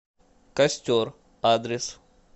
костер адрес